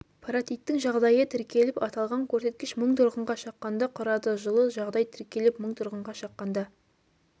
паротиттің жағдайы тіркеліп аталған көрсеткіш мың тұрғынға шаққанда құрады жылы жағдай тіркеліп мың тұрғынға шаққанда